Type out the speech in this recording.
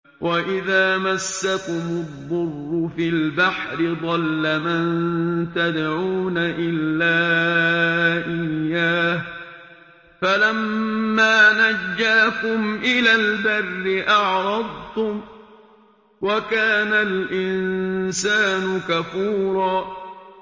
وَإِذَا مَسَّكُمُ الضُّرُّ فِي الْبَحْرِ ضَلَّ مَن تَدْعُونَ إِلَّا إِيَّاهُ ۖ فَلَمَّا نَجَّاكُمْ إِلَى الْبَرِّ أَعْرَضْتُمْ ۚ وَكَانَ الْإِنسَانُ كَفُورًا